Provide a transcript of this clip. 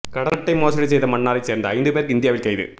கடனட்டை மோசடி செய்த மன்னாரை சேர்ந்த ஐந்து பேர் இந்தியாவில் கைது